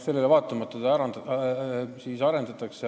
Sellele vaatamata seda süsteemi arendatakse.